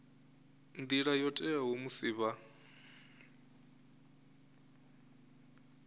nḓila yo teaho musi vha